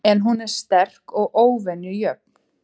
En hún er sterk og óvenju jöfn.